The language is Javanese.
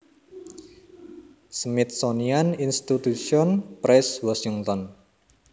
Smithsonian Institution Press Washington